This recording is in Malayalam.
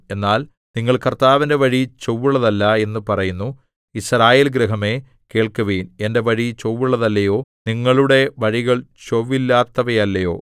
എന്നാൽ നിങ്ങൾ കർത്താവിന്റെ വഴി ചൊവ്വുള്ളതല്ല എന്ന് പറയുന്നു യിസ്രായേൽ ഗൃഹമേ കേൾക്കുവിൻ എന്റെ വഴി ചൊവ്വുള്ളതല്ലയോ നിങ്ങളുടെ വഴികൾ ചൊവ്വില്ലാത്തവയല്ലയോ